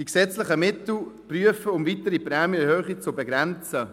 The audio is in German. ] die gesetzlichen Mittel untersuchen, um weitere Prämienerhöhungen zu begrenzen»: